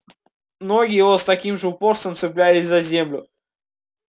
ноги его с таким же упорством цеплялись за землю с каким сам он цеплялся за жизнь